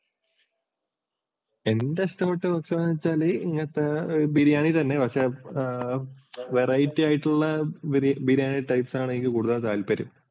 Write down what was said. എൻ്റെ ഇഷ്ടപ്പെട്ടൊരു ഭക്ഷണം എന്താന്ന് വച്ചാല് ഇങ്ങനത്തെ ബിരിയാണി തന്നെ പക്ഷെ variety ആയിട്ടുള്ള ബിരിയാണി types ആണ് കൂടുതൽ താല്പര്യം.